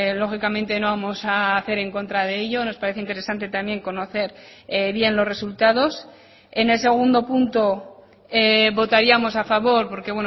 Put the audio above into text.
lógicamente no vamos a hacer en contra de ello nos parece interesante también conocer bien los resultados en el segundo punto votaríamos a favor porque